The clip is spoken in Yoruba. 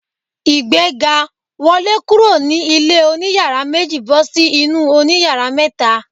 Ìgbéga! Wọlé kúrò ní ilé oní yàrá méjì bọ́ sí inú òní yàrá mẹ́ta.